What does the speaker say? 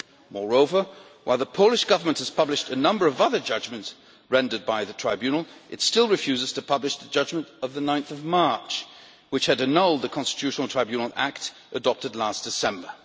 Moreover, while the Polish Government has published a number of other judgments rendered by the Tribunal, it still refuses to publish the judgment of 9 March annulling the Constitutional Tribunal Act adopted last December.